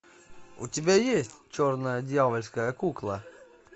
у тебя есть черная дьявольская кукла